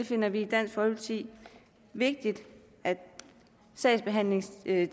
finder det i dansk folkeparti vigtigt at sagsbehandlingstiderne